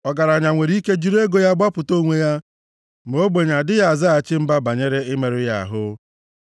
Ọgaranya nwere ike jiri ego ya gbapụta onwe ya, ma ogbenye adịghị azaghachi mba banyere imerụ ya ahụ.